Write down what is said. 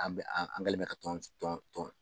An bɛ an an kɛlen ka tɔn tɔn tɔn